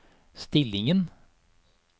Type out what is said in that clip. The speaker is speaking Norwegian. stillingen